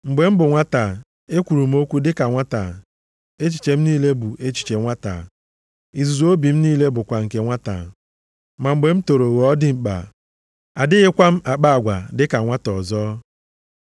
Mgbe m bụ nwata, ekwuru m okwu dịka nwata, echiche m niile bụ echiche nwata. Izuzu obi m niile bụkwa nke nwata. Ma mgbe m toro ghọọ dimkpa, adịghịkwa m akpa agwa dịka nwata ọzọ.